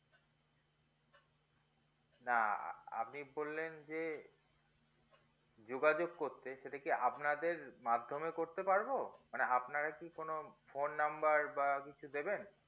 না আপনি বললেন যে যোগাযোগ করতে সেটাকি আপনাদের মাধ্যমে করতে পারবো না আপনারা কি কোনো phone number বা কিছু দেবেন